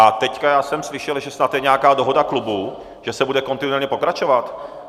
A teď já jsem slyšel, že snad je nějaká dohoda klubů, že se bude kontinuálně pokračovat?